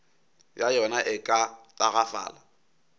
ya yona e ka tagafala